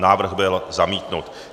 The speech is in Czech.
Návrh byl zamítnut.